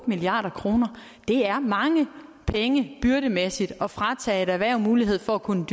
milliard kroner er mange penge byrdemæssigt at fratage et erhverv mulighed for at kunne